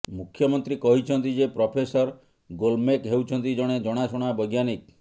ମୁଖ୍ୟମନ୍ତ୍ରୀ କହିଛନ୍ତି ଯେ ପ୍ରଫେସର ଗୋଲ୍ମ୍ବେକ୍ ହେଉଛନ୍ତି ଜଣେ ଜଣାଶୁଣା ବୈଜ୍ଞାନିକ